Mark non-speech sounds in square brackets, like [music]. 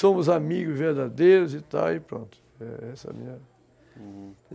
Somos amigos verdadeiros e tal e pronto [unintelligible]